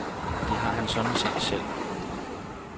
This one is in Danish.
Det har han sådan set selv.